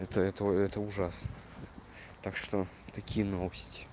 это это это ужасно так что такие новости